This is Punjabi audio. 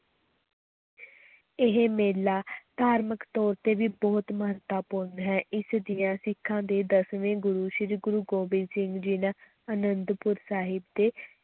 ਇਹ ਮੇਲਾ ਧਾਰਮਕ ਤੌਰ ਤੇ ਵੀ ਬਹੁਤ ਮਹੱਤਵਪੂਰਨ ਹੈ, ਇਸ ਦੀਆਂ ਸਿੱਖਾਂ ਦੇ ਦਸਵੇਂ ਗੁਰੂ ਸ੍ਰੀ ਗੁਰੂ ਗੋਬਿੰਦ ਸਿੰਘ ਜੀ ਨੇ ਅਨੰਦਪੁਰ ਸਾਹਿਬ ਦੇ